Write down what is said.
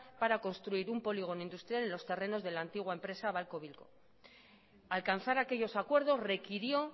para construir un polígono industrial en los terrenos de la antigua empresa babcock wilcox alcanzar aquellos acuerdos requirió